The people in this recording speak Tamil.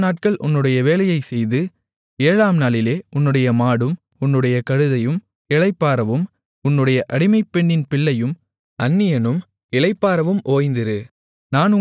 ஆறுநாட்கள் உன்னுடைய வேலையைச் செய்து ஏழாம்நாளிலே உன்னுடைய மாடும் உன்னுடைய கழுதையும் இளைப்பாறவும் உன்னுடைய அடிமைப்பெண்ணின் பிள்ளையும் அந்நியனும் இளைப்பாறவும் ஓய்ந்திரு